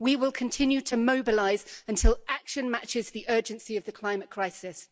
We will continue to mobilise until action matches the urgency of the climate crisis.